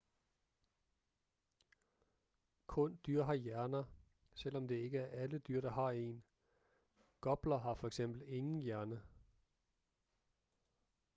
kun dyr har hjerner selvom det ikke er alle dyr der har en; gopler har for eksempel ingen hjerne